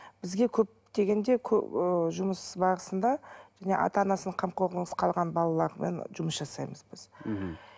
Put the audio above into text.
бізге көп дегенде ы жұмыс барысында және ата анасының қамқорлығынсыз қалған балалармен жұмыс жасаймыз біз мхм